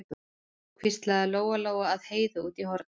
hvíslaði Lóa-Lóa að Heiðu úti í horni.